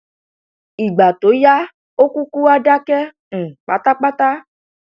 ìgbà tó yá ó kúkú wá dákẹ um pátápátá